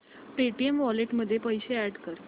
Paytm wallet मध्ये पैसे add कर